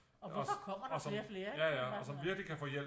Og hvorfor kommer der flere og flere ikke